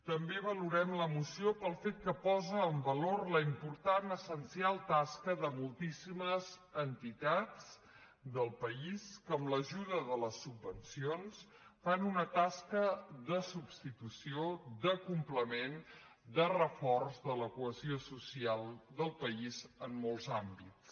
també valorem la moció pel fet que posa en valor la important essencial tasca de moltíssimes entitats del país que amb ajuda de les subvencions fan una tasca de substitució de complement de reforç de la cohesió social del país en molts àmbits